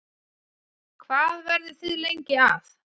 Hvað verðið þið lengi að?